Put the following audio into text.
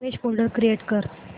image folder create कर